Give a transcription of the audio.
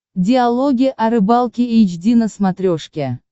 диалоги о рыбалке эйч ди на смотрешке